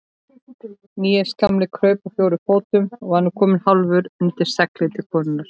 Níels gamli kraup á fjórum fótum og var nú kominn hálfur undir seglið til konunnar.